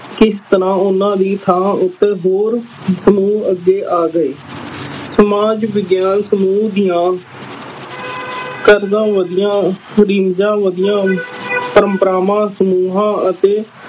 ਕਿਸ ਤਰ੍ਹਾਂ ਉਹਨਾਂ ਦੀ ਥਾਂ ਉੱਤੇ ਹੋਰ ਸਮੂਹ ਅੱਗੇ ਆ ਗਏ l ਸਮਾਜ ਵਿਗਿਆਨ ਸਮੂਹ ਦੀਆ ਕਰਜਾ ਵਧੀਆ ਵਧੀਆ ਪ੍ਰੰਪ੍ਰਾਵਾਂ, ਸਮੂਹਾਂ ਅਤੇ